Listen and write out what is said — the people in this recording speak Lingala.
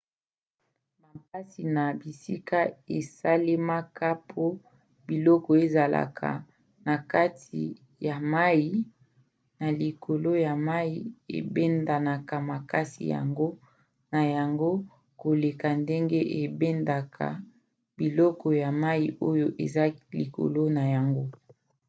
bampasi na bisika esalemaka po biloko ezalaka na kati ya mai na likolo ya mai ebendanaka makasi yango na yango koleka ndenge ebendaka biloko ya mai oyo eza likolo na yango